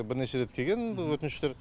бірнеше рет келген өтініштер